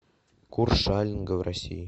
курс шалинга в россии